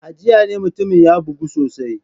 A jiya ne mutumin ya bugu sosai.